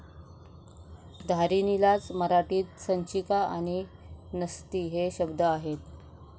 धारिणीलाच मराठीत संचिका आणि नसती हे शब्द आहेत.